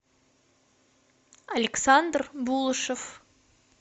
александр булышев